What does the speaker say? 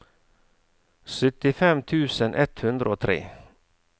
syttifem tusen ett hundre og tre